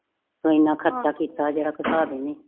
ਜੋ ਇਨਾ ਖਰਚਾ ਕੀਤਾ ਜੇੜਾ ਹਿਸਾਬ ਹੀ ਨਈ